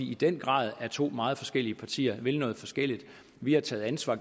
i den grad er to meget forskellige partier og vil noget forskelligt vi har taget ansvar